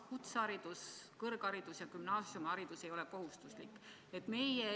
Kutseharidus, kõrgharidus ja gümnaasiumiharidus ei ole kohustuslik.